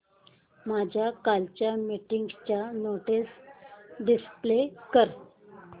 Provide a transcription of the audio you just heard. माझ्या कालच्या मीटिंगच्या नोट्स डिस्प्ले कर